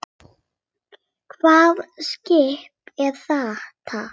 Hvaða skip er þetta?